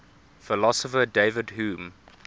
philosopher david hume